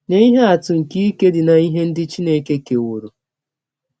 Nye ihe atụ nke ike dị n’ihe ndị Chineke keworo .:-